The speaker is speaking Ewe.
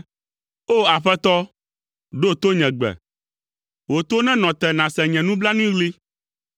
O! Aƒetɔ, ɖo to nye gbe. Wò to nenɔ te nàse nye nublanuiɣli.